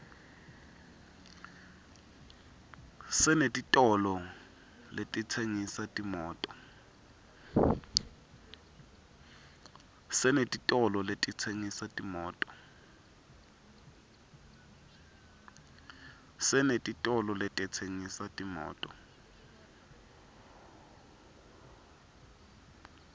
senetitolo letitsengisa timoto